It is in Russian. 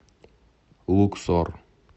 луксор